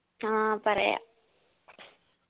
ആ പറയാം